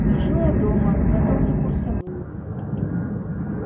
сижу я дома готовлю курсовую